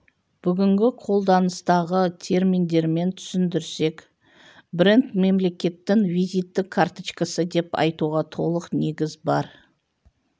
бүгінгі қолданыстағы терминдермен түсіндірсек бренд мемлекеттің визиттік карточкасы деп айтуға толық негіз бар